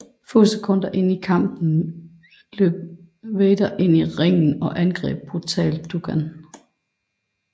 Få sekunder inde i kampen løb Vader ind i ringen og angreb brutalt Duggan